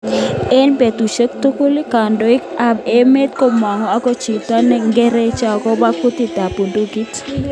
Eng betusiek tugul, kandoik ab emet komangu ako chuto ngecheret akobo kutit ab budukit.